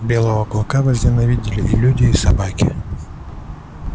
белого клыка возненавидели и люди и собаки